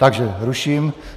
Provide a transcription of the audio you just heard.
Takže ruším.